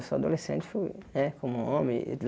Eu sou adolescente, fui né como homem.